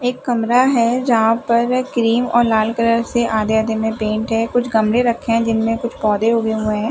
एक कमरा हैं जहाँ पर क्रीम और लाल कलर से आधे-आधे मे पेंट हैं कुछ गमले रखे हुए हैं जिनमें कुछ पौधे उगे हुए है।